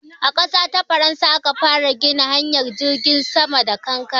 A ƙasa ta Faransa aka fara gina hanyar jirgin sama da kankare.